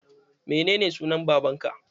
Menene sunan babanka?